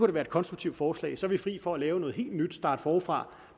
da være et konstruktivt forslag så er vi fri for at lave noget helt nyt starte forfra